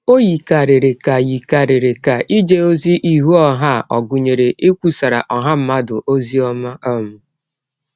Ọ yikarịrị ka yikarịrị ka ije ọzi ihụ ọha a ọ̀ gụnyere ikwụsara ọha mmadụ ọzi ọma um.